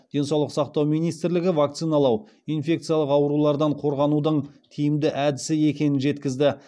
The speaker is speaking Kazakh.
денсаулық сақтау министрлігі вакциналау инфекциялық аурулардан қорғанудың тиімді әдісі екенін жеткізді